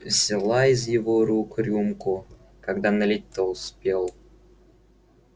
взяла из его рук рюмку когда налить-то успел